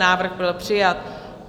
Návrh byl přijat.